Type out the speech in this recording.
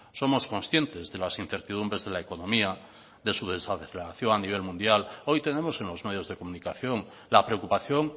somos conscientes de las incertidumbres de la economía de su desaceleración a nivel mundial hoy tenemos en los medios de comunicación la preocupación